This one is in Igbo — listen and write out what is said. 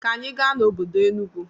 Ka anyi gaa n'obodo Enugwu.